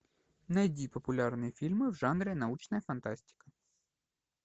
найди популярные фильмы в жанре научная фантастика